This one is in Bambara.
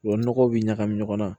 O nɔgɔ bi ɲagami ɲɔgɔn na